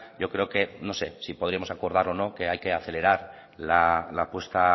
yo creo que no se si podíamos acordar o no que hay que acelerar la puesta a